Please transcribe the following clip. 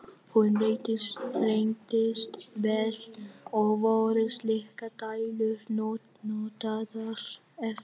Hún reyndist vel, og voru slíkar dælur notaðar eftir það.